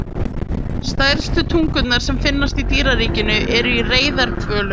Stærstu tungur sem finnast í dýraríkinu eru í reyðarhvölum.